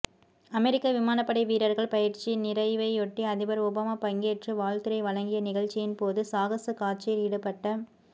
அமெரிக்க விமானப்படை வீரர்கள் பயிற்சி நிறைவையொட்டி அதிபர் ஒபாமா பங்கேற்று வாழ்த்துரை வழங்கிய நிகழ்ச்சியின்போது சாகச காட்சியில் ஈடுபட்ட